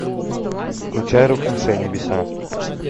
включай рухнувшие небеса